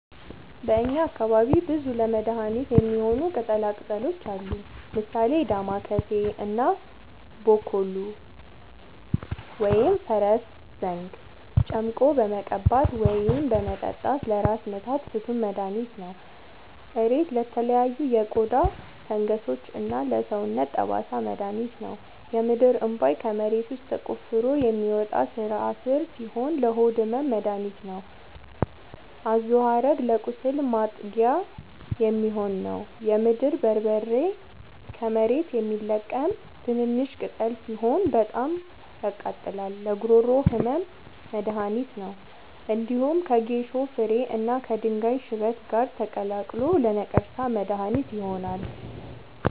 በእኛ አካባቢ ብዙ ለመድሀነት የሚሆኑ ቅጠላ ቅጠሎች አሉ። ምሳሌ፦ ዳማከሴ እና ቦኮሉ(ፈረስዘንግ) ጨምቆ በመቀባት ወይም በመጠጣት ለራስ ምታት ፍቱን መድሀኒት ነው። እሬት ለተለያዩ የቆዳ ፈንገሶች እና ለሰውነት ጠባሳ መድሀኒት ነው። የምድርእንቧይ ከመሬት ውስጥ ተቆፍሮ የሚወጣ ስራስር ሲሆን ለሆድ ህመም መደሀኒት ነው። አዞሀረግ ለቁስል ማጥጊያ የሚሆን ነው። የምድር በርበሬ ከመሬት የሚለቀም ትንሽሽ ቅጠል ሲሆን በጣም ያቃጥላል ለጉሮሮ ህመም መድሀኒት ነው። እንዲሁም ከጌሾ ፍሬ እና ከድንጋይ ሽበት ጋር ተቀላቅሎ ለነቀርሳ መድሀኒት ይሆናል።